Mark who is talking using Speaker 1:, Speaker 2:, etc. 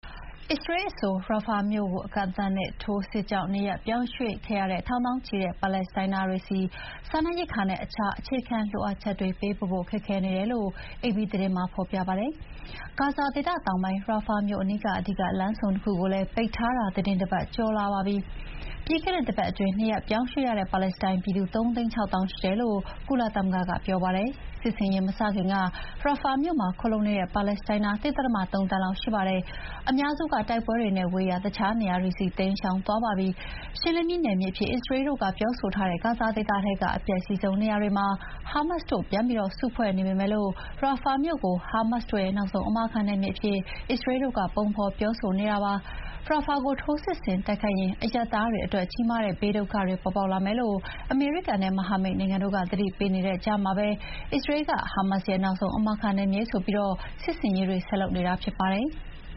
Speaker 1: အစ္စရေးအဆို ရာဖာမြို့ အကန့်အသတ်နဲ့ထိုးစစ်ကြောင့် နေရပ်ရွှေ့ပြောင်းခဲ့ရတဲ့ ထောင်သောင်းချီတဲ့ ပါလက်စတိုင်းသားတွေဆီ စားနပ်ရိက္ခာနဲ့ အခြားအခြေခံလိုအပ်ချက်တွေ ပေးပို့ဖို့ ခက်ခဲနေတယ်လို့ အေပီသတင်းမှာဖော်ပြပါတယ်။ ဂါဇာဒေသတောင်ပိုင်း ရာဖာမြို့အနီးက အဓိကလမ်းဆုံနှစ်ခုကိုလည်း ပိတ်ထားတာ သီတင်းတပတ်ကျော်လာပါပြီ။ ပြီးခဲ့တဲ့တပတ်အတွင်း နေရပ်ရွှေ့ပြောင်းရတဲ့ ပါလက်စတိုင်းပြည်သူ ၃ သိန်း ၆ သောင်းရှိတယ်လို့ ကုလသမဂ္ဂက ပြောပါတယ်။ စစ်ဆင်ရေးမစခင်က ရာဖာမြို့မှာ ခိုလှုံနေတဲ့ပါလက်စတိုင်းသား ၁.၃ သန်းလောက်ရှိပါတယ်။ အများစုက တိုက်ပွဲတွေနဲ့ဝေးရာ တခြားနေရာတွေဆီ တိမ်းရှောင်သွားပြီးကြပါပြီ။ ရှင်းလင်းပြီးနယ်မြေအဖြစ် အစ္စရေးတို့ကပြောဆိုထားတဲ့ ဂါဇာဒေသထဲက အပျက်စီးဆုံးနေရာတွေမှာ ဟာမတ်စ်တို့ပြန်ပြီး စုဖွဲ့နေပေမဲ့ ရာဖာမြို့ကို ဟာမတ်စ်တို့ရဲ့ နောက်ဆုံးအမာခံနယ်မြေအဖြစ် အစ္စရေးတို့က ပုံဖော်ပြောဆိုနေတာဖြစ်ပါတယ်။ ရာဖာကို ထိုးစစ်ဆင်တိုက်ခိုက်ရင် အရပ်သားတွေအတွက် ကြီးမားတဲ့ဘေးဒုက္ခတွေပေါ်ပေါက်လာမယ်လို့ အမေရိကန်နဲ့မဟာမိတ်နိုင်ငံတို့က သတိပေးနေတဲ့ကြားမှာပဲ အစ္စရေးက ဟာမတ်စ်ရဲ့နောက်ဆုံးအမာခံနယ်မြေဆိုပြီး စစ်ဆင်ရေးတွေ ဆက်လုပ်နေတာဖြစ်ပါတယ်။